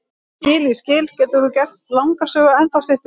Ég skil, ég skil, getur þú gert langa sögu ennþá styttri?